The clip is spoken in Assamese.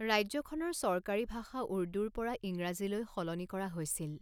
ৰাজ্যখনৰ চৰকাৰী ভাষা উৰ্দুৰ পৰা ইংৰাজীলৈ সলনি কৰা হৈছিল।